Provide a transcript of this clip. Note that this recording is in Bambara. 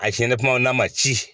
A siɲɛnɛ kuma n'a man ci.